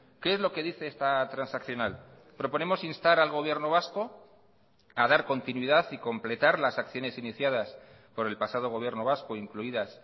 qué es lo que dice esta transaccional proponemos instar al gobierno vasco a dar continuidad y completar las acciones iniciadas por el pasado gobierno vasco incluidas